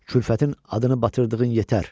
Külfətin adını batırdığın yetər.